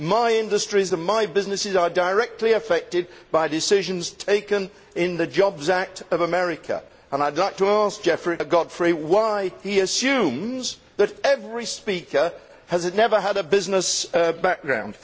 My industries and my businesses are directly affected by decisions taken in the Jobs Act of America and I would like to ask Godfrey why he assumes that every speaker has never had a business background.